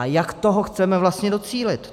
A jak toho chceme vlastně docílit?